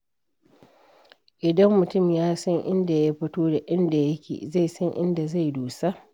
Idan mutum ya san inda ya fito da inda yake, zai san inda zai dosa.